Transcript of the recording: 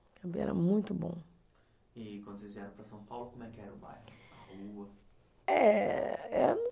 Muito bom. E quando vocês vieram para São Paulo, como é que era o bairro? A rua? Eh, eh